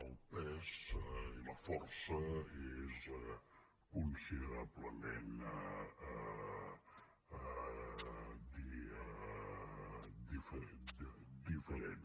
el pes i la força és considerablement diria diferent